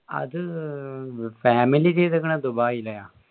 അത് family ചെയ്തേക്കണ ദുബായിലേയ